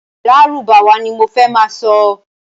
Lárúbáwá ní mo fẹ́ ma sọ